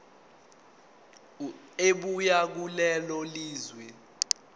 ebuya kulelo lizwe